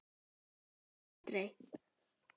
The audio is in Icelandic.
Virkar aldrei.